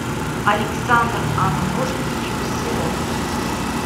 александр анатольевич серов